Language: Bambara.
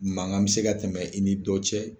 Mankan bɛ se ka tɛmɛ i ni dɔ cɛ.